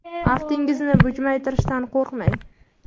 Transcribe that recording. Aftingizni bujmaytirishdan qo‘rqmang!